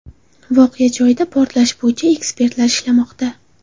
Voqea joyida portlash bo‘yicha ekspertlar ishlamoqda.